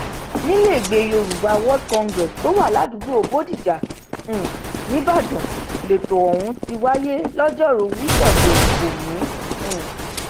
nílẹẹgbẹ yorùbá world congress tó wà ládùúgbò bòdíjà um níìbàdàn lẹtọ ọhún ti wáyé lọjọrùú wísódèé òní um